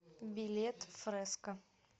билет фрэско